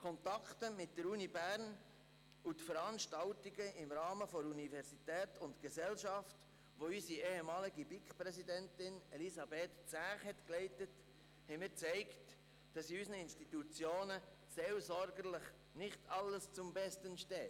Kontakte mit der Universität Bern und Veranstaltungen im Rahmen des Forums «Universität und Gesellschaft», das unsere ehemalige BiK-Präsidentin, Elisabeth Zäch, leitete, haben mir gezeigt, dass in unseren Institutionen seelsorgerisch nicht alles zum Besten steht.